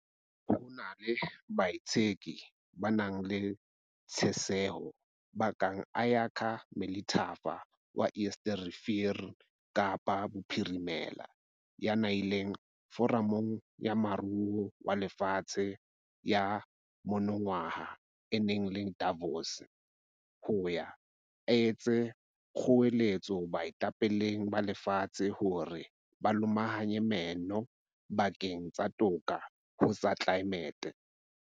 Ho na le baitseki ba nang le tjheseho ba kang Ayakha Melithafa wa Eerste Rivier Kapa Bophirimela, ya neng a ile Foramong ya Moruo wa Lefatshe ya monongwaha e neng e le Davos, ho ya etsa kgoeletso baetapeleng ba lefatshe hore ba lomahanye meno bakeng sa toka ho tsa tlelaemete.